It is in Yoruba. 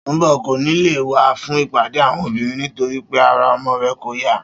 Sùnḿbò̩ kò ní lè wá fún ìpàdé àwo̩n obìnrin nitorí pé ara o̩mo̩ rè̩ kò yá